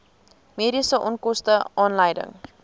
mediese onkoste aanleiding